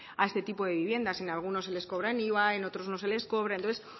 a este tipo de viviendas en algunos se les cobran iva en otros no se les cobra entonces